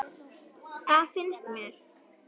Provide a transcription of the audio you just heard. Það finnst mér.